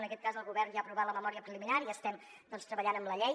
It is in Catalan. en aquest cas el govern ja ha aprovat la memòria preliminar i estem treballant amb la llei